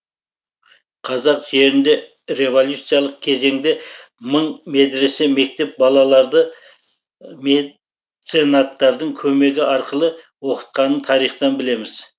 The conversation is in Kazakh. қазақ жерінде революциялық кезеңде мың медресе мектеп балаларды меценаттардың көмегі арқылы оқытқанын тарихтан білеміз